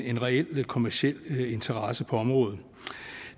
en reel kommerciel interesse på området